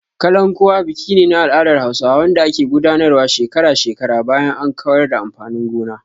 "Kalankuwa" biki ne na al'adar Hausawa wanda ake gudanarwa shekara-shekara bayan an kawar da amfanin gona.